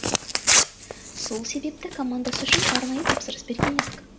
сол себепті командасы үшін арнайы тапсырыс берген едік